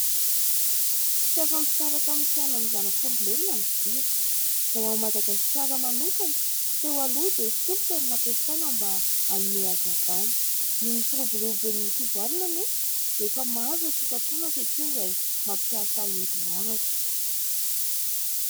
Tsy afa-misaraka amin'ny fiainan-janak'olombelona ny jiro ; raha ao Madagasikara manokana teo aloha dia solika ny nampiasaina mba hanome hazavana noho ny firoborobon'ny fivoarana anefa dia efa maro ny tokantrano ankehitriny izay mampiasa herinaratra.